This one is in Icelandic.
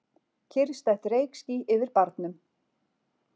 Kyrrstætt reykský yfir barnum.